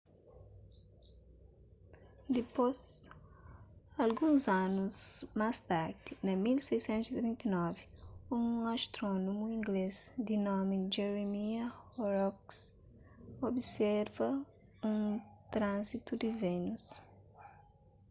dispôs alguns anus más tardi na 1639 un astrónomu inglês di nomi jeremiah horrocks observa un tranzitu di vénus